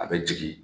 A bɛ jigin